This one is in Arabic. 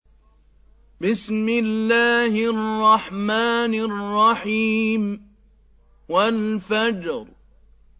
وَالْفَجْرِ